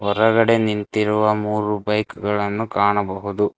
ಹೊರಗಡೆ ನಿಂತಿರುವ ಮೂರು ಬೈಕ್ ಗಳನ್ನು ಕಾಣಬಹುದು.